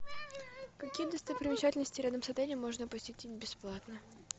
какие достопримечательности рядом с отелем можно посетить бесплатно